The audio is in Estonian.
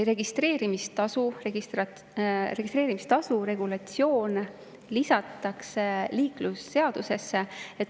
Registreerimistasu regulatsioon lisatakse liiklusseadusesse.